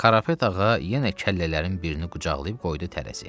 Qarapet ağa yenə kəllələrin birini qucaqlayıb qoydu tərəziyə.